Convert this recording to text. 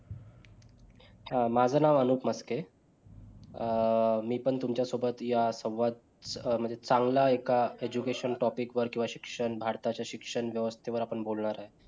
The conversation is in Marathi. अच्छा माझं नाव अनूप मस्के अं मी पण तुमच्या सोबत या संवाद म्हणजे चांगला आहे एका education topic वर किंवा शिक्षण भारताच्या शिक्षण व्यवस्थेवर आपण बोलणार आहोत